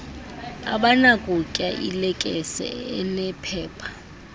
abanakutya ilekese enephepha